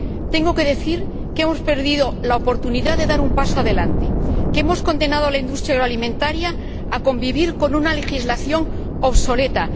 Tengo que decir que hemos perdido la oportunidad de dar un paso adelante que hemos condenado a la industria agroalimentaria a convivir con una legislación obsoleta